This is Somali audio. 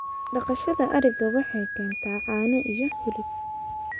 Dhaqashada ariga waxay keentaa caano iyo hilib.